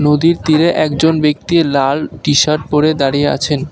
নদীর তীরে একজন ব্যাক্তি লাল টি-শার্ট পড়ে দাঁড়িয়ে আছেন।